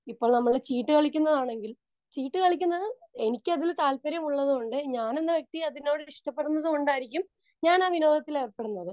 Speaker 2 ഇപ്പോൾ നമ്മൾ ചീട്ടുകളിക്കുന്നതാണെങ്കിലും ചീട്ടുകളിക്കുന്നത് താത്പര്യമുള്ളതുകൊണ്ട് ഞാൻ എന്ന വ്യക്തി അതിനോട് ഇഷ്ടപ്പെടുന്നതുകൊണ്ടായിരിക്കും ഞാനാ വിനോദത്തിൽ ഏർപ്പെടുന്നത്.